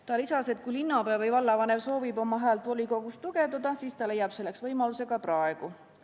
Ta lisas, et kui linnapea või vallavanem soovib oma häält volikogus tugevdada, siis ta leiab selleks võimaluse ka praegu.